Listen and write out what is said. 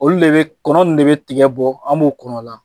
Olu de be kɔnɔ ninnu de be tigɛ bɔ an b'u kɔnɔ la.